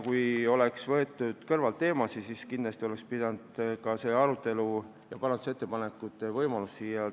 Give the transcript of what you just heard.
Kui praegu oleks neid teemasid kõrvalt võetud, siis kindlasti oleks pidanud olema ka nende arutelu ja parandusettepanekute võimalus.